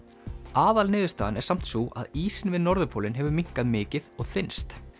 aðalniðurstaðan er samt sú að ísinn við norðurpólinn hefur minnkað mikið og þynnst